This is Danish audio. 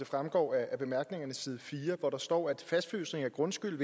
fremgår af bemærkningerne på side fire hvor der står at fastfrysning af grundskyld